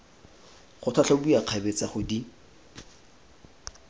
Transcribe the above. go tlhatlhobiwa kgabetsa go di